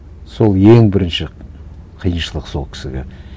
сол ең бірінші қиыншылық сол кісіге